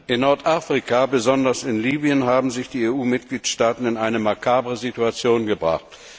In Nordafrika, besonders in Libyen, haben sich die EU Mitgliedstaaten in eine makabre Situation gebracht.